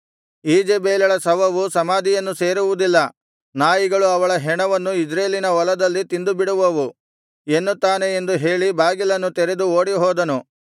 ಈಜೆಬೆಲಳ ಶವವು ಸಮಾಧಿಯನ್ನು ಸೇರುವುದಿಲ್ಲ ನಾಯಿಗಳು ಅವಳ ಹೆಣವನ್ನು ಇಜ್ರೇಲಿನ ಹೊಲದಲ್ಲಿ ತಿಂದುಬಿಡುವವು ಎನ್ನುತ್ತಾನೆ ಎಂದು ಹೇಳಿ ಬಾಗಿಲನ್ನು ತೆರೆದು ಓಡಿಹೋದನು